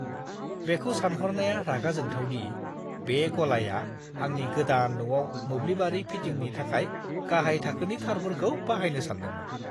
बेखौ सानहरनाया रागा जोंथाव दि बे गलाया आंनि गोदान न'आव मोब्लिबारि फिटिंनि थाखाय गाहाय थाखोनि थारफोरखौ बाहायनो सान्दोंमोन!